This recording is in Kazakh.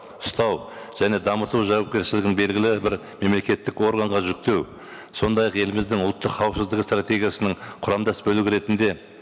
ұстау және дамыту жауапкершілігін белгілі бір мемлекеттік органға жүктеу сондай ақ еліміздің ұлттық қауіпсіздігі стратегиясының құрамдас бөлігі ретінде